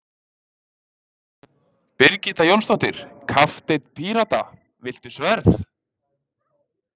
Birgitta Jónsdóttir, kapteinn Pírata: Viltu sverð?